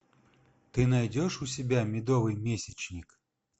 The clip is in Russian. ты найдешь у себя медовый месячник